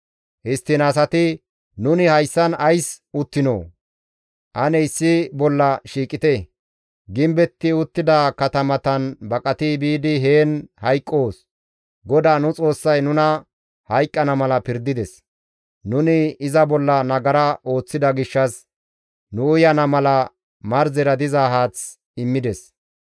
Histtiin asati, «Nuni hayssan ays uttinoo? Ane issi bolla shiiqite; gimbetti uttida katamatan baqati biidi heen hayqqoos; GODAA nu Xoossay nuna hayqqana mala pirdides; nuni iza bolla nagara ooththida gishshas nu uyana mala marzera diza haath immides.